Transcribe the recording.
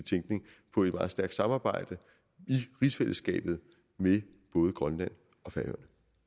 tænkning på et meget stærkt samarbejde i rigsfællesskabet med både grønland og færøerne